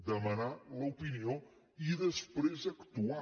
demanar l’opinió i després actuar